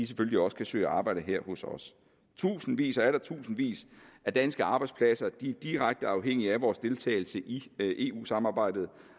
selvfølgelig også kan søge arbejde her hos os tusindvis og atter tusindvis af danske arbejdspladser er direkte afhængige af vores deltagelse i eu samarbejdet